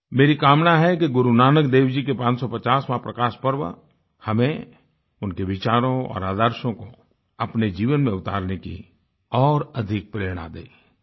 मेरी कामना है कि गुरु नानक देव जी के 550वाँ प्रकाश पर्व हमें उनके विचारों और आदर्शों को अपने जीवन में उतारने की और अधिक प्रेरणा दें